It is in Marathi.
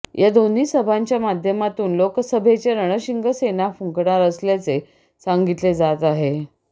या दोन्ही सभांच्या माध्यमातून लोकसभेचे रणशिंग सेना फुंकणार असल्याचे सांगितले जात आहे